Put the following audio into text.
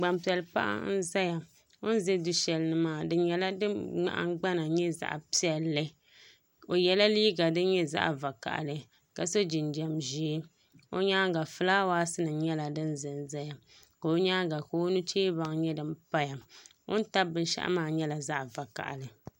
Gban piɛli paɣa n ʒɛya o ni ʒɛ du shɛli ni maa di nyɛla din nahangbana nyɛ zaɣ piɛlli o yɛla liiga din nyɛ zaɣ vakaɣali ka so jinjɛm ʒiɛ o nyaanga fulaawaasi nim nyɛla din ʒɛnʒɛya ka o nyaanga ka o nu chɛ baŋ nyɛ din paya o ni tabi binshaɣu maa nyɛla zaɣ vakaɣili